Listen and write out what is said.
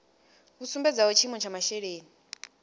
vhu sumbedzaho tshiimo tsha masheleni